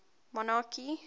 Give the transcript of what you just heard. monarchy